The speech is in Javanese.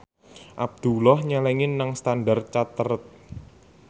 Abdullah nyelengi nang Standard Chartered